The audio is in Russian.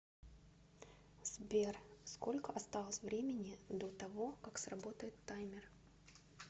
сбер сколько осталось времени до того как сработает таймер